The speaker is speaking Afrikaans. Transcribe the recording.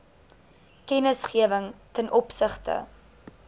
kennisgewing ten opsigte